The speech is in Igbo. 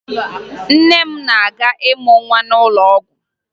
Nne m na-aga ịmụ nwa n'ụlọ ọgwụ